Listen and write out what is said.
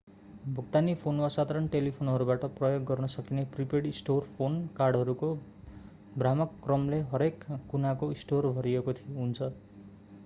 भुक्तानी फोन वा साधारण टेलिफोनहरूबाट प्रयोग गर्न सकिने प्रिपेड स्टोर फोन कार्डहरूको भ्रामक क्रमले हरेक कुनाको स्टोर भरिएको हुन्छ